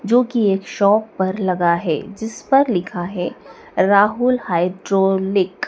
जोकि एक शॉप पर लगा है जिस पर लिखा है राहुल हाइड्रोलिक ।